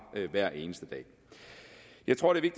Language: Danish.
hver eneste dag jeg tror det er